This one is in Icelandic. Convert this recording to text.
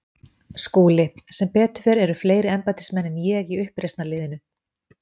SKÚLI: Sem betur fer eru fleiri embættismenn en ég í uppreisnarliðinu.